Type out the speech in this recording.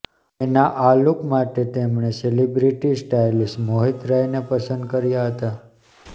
તેના આ લુક માટે તેમણે સેલિબ્રિટી સ્ટાઈલિશ મોહિત રાય ને પસંદ કર્યા હતા